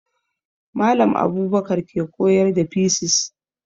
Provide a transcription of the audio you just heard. Mallam Abubakar ke koyar da fisis